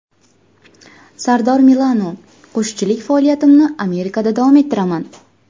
Sardor Milano: Qo‘shiqchilik faoliyatimni Amerikada davom ettiraman.